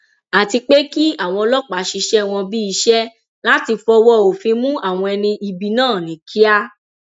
àti pé kí àwọn ọlọpàá ṣiṣẹ wọn bíi iṣẹ láti fọwọ òfin mú àwọn ẹni ibi náà ní kíá